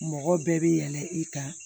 Mɔgɔ bɛɛ bɛ yɛlɛn i kan